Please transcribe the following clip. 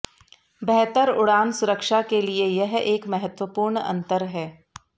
बेहतर उड़ान सुरक्षा के लिए यह एक महत्वपूर्ण अंतर है